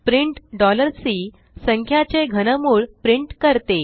print C संख्याचे घनमुळ print करते